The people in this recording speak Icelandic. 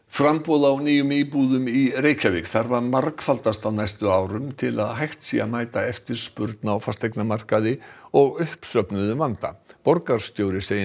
framboð á nýjum íbúðum í Reykjavík þarf að margfaldast á næstu árum til að hægt sé að mæta eftirspurn á fasteignamarkaði og uppsöfnuðum vanda borgarstjóri segir